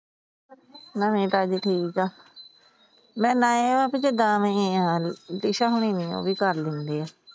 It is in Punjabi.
ਨਵੀਆਂ ਤਾਜ਼ੀ ਠੀਕ ਏ। ਨੀ ਮੈ ਟਿਸ਼ਾਂ ਹਰਿ ਗਈਆਂ ਸੀ ਕਰ ਲੈਂਦੇ ਆ।